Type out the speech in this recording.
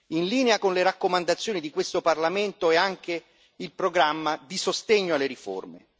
In linea con le raccomandazioni di questo Parlamento è anche il programma di sostegno alle riforme.